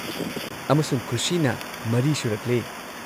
ꯑꯃꯁꯨꯡ ꯈꯨꯁꯤꯅ ꯃꯔꯤ ꯁꯨꯔꯛꯂꯦ꯫